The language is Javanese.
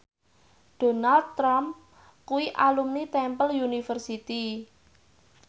Donald Trump kuwi alumni Temple University